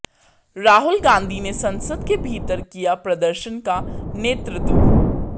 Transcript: राहुल गांधी ने संसद के भीतर किया प्रदर्शन का नेतृत्व